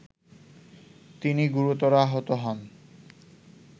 তিনি গুরুতর আহত হন